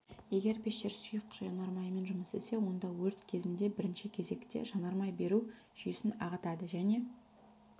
егер пештер сұйық жанармаймен жұмыс істесе онда өрт кезінде бірінші кезекте жанармай беру жүйесін ағытады және